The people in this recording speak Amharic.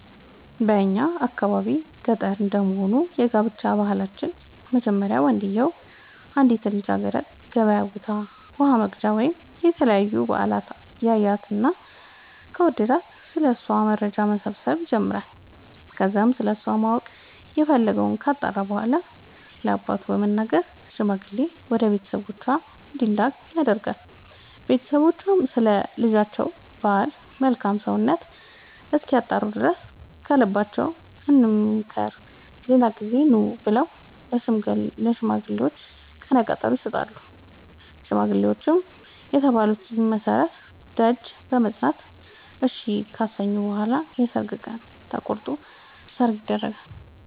በእኛ የአካባቢ ገጠር እንደመሆኑ የጋብቻ ባህላችን መጀመሪያ ወንድዬው አንዲትን ልጃገረድ ገበያ ቦታ ውሃ ወቅጃ ወይም ለተለያዩ በአላት ያያትና ከወደዳት ስለ እሷ መረጃ መሰብሰብ ይጀምራይ ከዛም ስለሷ ማወቅ የፈለገወን ካጣራ በኋላ ለአባቱ በመንገር ሽማግሌ ወደ ቤተሰቦቿ እንዲላክ ያደርጋል ቦተሰቦቿም ስለ ልጃቸው ባል መልካም ሰውነት እስኪያጣሩ ድረስ ከልባችን እንምከር ሌላ ጊዜ ኑ ብለው ለሽማግሌዎቹ ቀነቀጠሮ ይሰጣሉ ሽማግሌዎቹም በተባሉት መሠረት ደጅ በመፅና እሺ ካሰኙ በኋላ የሰርግ ቀን ተቆርጦ ሰርግ ይደገሳል።